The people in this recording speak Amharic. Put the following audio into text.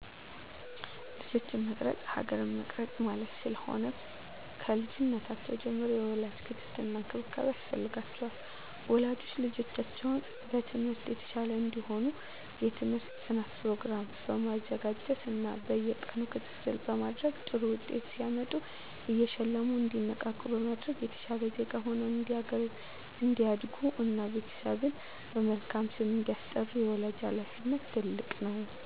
ልጆችን መቅረፅ ሀገር መቅረፅ ማለት ስለሆነ። ከልጅነታቸው ጀምሮ የወላጅ ክትትል እና እንክብካቤ ያስፈልጋቸዋል። ወላጆች ልጆቻቸው በትምህርት የተሻሉ እንዲሆኑ የትምህርት ጥናት ፕሮግራም በማዘጋጀት እና በየቀኑ ክትትል በማድረግ ጥሩ ውጤት ሲያመጡ እየሸለሙ እንዲነቃቁ በማድረግ የተሻለ ዜጋ ሁነው እንዲያድጉ እና ቤተሰብን በመልካም ስም እንዲያስጠሩ የወላጅ ሀላፊነት ትልቅ ነው።